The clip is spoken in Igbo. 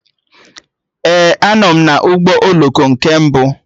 Ee, a nọ m na ụgbọ oloko nke mbụ